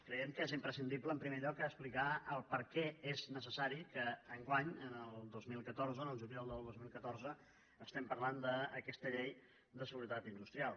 creiem que és imprescindible en primer lloc explicar per què és necessari que enguany el dos mil catorze al juliol del dos mil catorze estiguem parlant d’aquesta llei de seguretat industrial